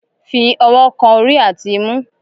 Fi ọwọ kan orí àti imú!